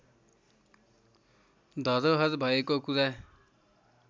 धरोहर भएको कुरा